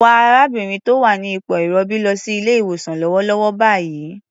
Wa arábìnrin tó wà ní ipò ìrọbí lọ sí ilé-ìwosàn lọ́wọ́lọ́wọ́ báyìí.